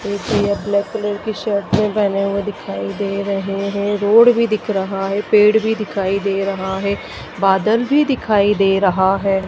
एक ये black colour की शर्ट में पहने हुए दिखाई दे रहे हैं रोड भी दिख रहा है पेड़ भी दिखाई दे रहा है बादल भी दिखाई दे रहा है।